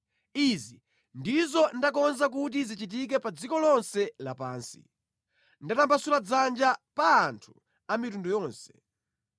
Izi ndizo ndakonza kuti zichitike pa dziko lonse lapansi, ndatambasula dzanja pa anthu a mitundu yonse.